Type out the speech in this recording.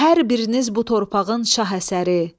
Hər biriniz bu torpağın şah əsəri.